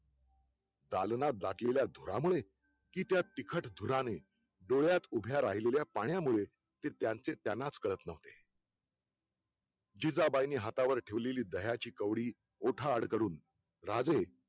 दालनात दाटलेल्या धुरामुळे की त्या तिखट धुराने डोळ्यात उभे राहिलेल्या पाण्यामुळे ते त्यांचे त्यांनाच कळत नव्हते जिजाबाईंनी हातावर ठेवलेली दह्याची कवडी ओठा आड कडून राजे